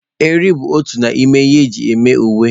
Eriri bụ otu n'ime ihe eji eme uwe.